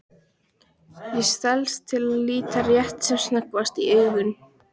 Ég stelst til að líta rétt sem snöggvast í augun.